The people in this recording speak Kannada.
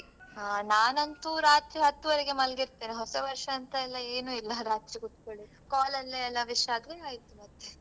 ಆ ನಾನಂತೂ ರಾತ್ರಿ ಹತ್ತುವರೆಗೆ ಮಾಲ್ಗೀರ್ತೇನೆ ಹೊಸ ವರ್ಷಾಂತಯೆಲ್ಲ ಏನೂ ಇಲ್ಲ ರಾತ್ರಿ ಕುತ್ಕೋಳಿ. call ಅಲ್ಲೇ ಎಲ್ಲ wish ಆದ್ಮೇಲೆ ಆಯ್ತು ಮತ್ತೆ.